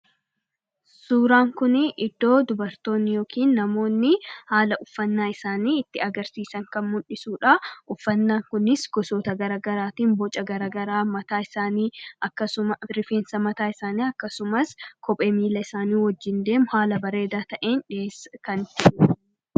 suuraan kunii iddoo dubartoonn yookiin namoonni haala uffannaa isaanii itti agarsiisan kan mundhisuudha uffannaa kunis gosoota garagaraatiin boca garagaraa mataa isaanii akkasuma pirifeensa mataa isaanii akkasumas kophee miila isaanii wajjiin deemu haala bareedaa ta'een dhiheesskan